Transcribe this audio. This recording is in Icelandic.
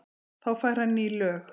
Þá fær hann ný lög.